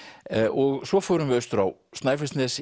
og svo förum við vestur á Snæfellsnes